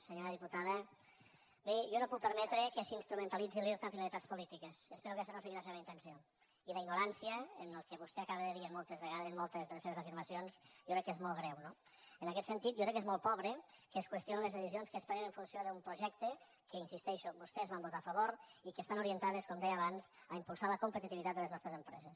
senyora diputada miri jo no puc permetre que s’instrumentalitzi l’irta amb finalitats polítiques espero que aquesta no sigui la seva intenció i la ignorància en el que vostè acaba de dir i moltes vegades en moltes de les seves afirmacions jo crec que és molt greu no en aquest sentit jo crec que és molt pobre que es qüestionin les decisions que es prenen en funció d’un projecte que hi insisteixo vostès van votar a favor i que estan orientades com deia abans a impulsar la competitivitat de les nostres empreses